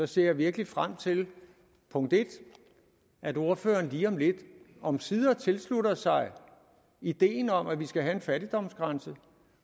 ser virkelig frem til at ordføreren lige om lidt omsider tilslutter sig ideen om at vi skal have en fattigdomsgrænse